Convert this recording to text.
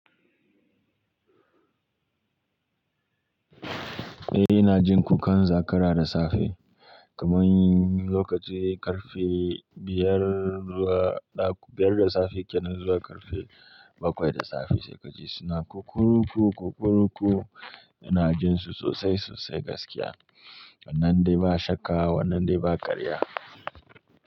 Eh ina jin kukan zakara da safe kaman lokaci karfe biyar. Biyar da safe kenan zuwa karfe bakwai da safe sai kaji suna kukkuruku-kukkuruku. Ina jin su sosai sosai gaskiya. Wannann dai ba shakka wannan dai ba karya.